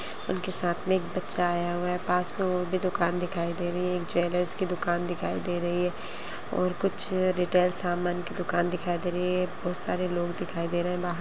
उनके साथ मे एक बच्चा आया हुआ है पास मे वो भी दुकान दिखाई दे रही है एक ज्वेलर्स की दुकान दिखाई दे रही है और कुछ रिटेल सामान की दुकान दिखाई दे रही है बहोत सारे लोग दिखाई दे रहे है बाहर--